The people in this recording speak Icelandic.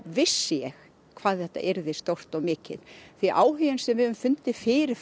vissi ég hvað þetta yrði stórt og mikið því áhuginn sem við höfum fundið fyrir